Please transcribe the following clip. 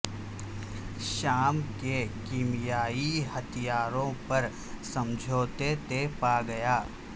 شام کے کیمیائی ہتھیاروں پر سمجھوتہ طے پا گیا